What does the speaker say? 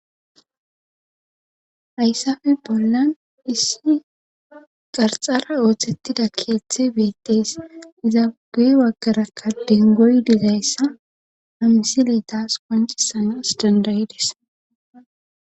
hayssafe bollan issi qarxara ooththettida keeththe beettees izaugey waggarakka din goy dizayssa hamsiletas kancisanas dandayides